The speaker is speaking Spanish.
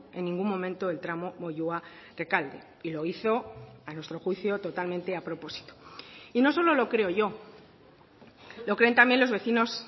en ningún momento el tramo moyua rekalde y lo hizo a nuestro juicio totalmente a propósito y no solo lo creo yo lo creen también los vecinos